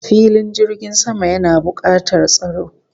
Filin jirgin sama yana bukatar tsaro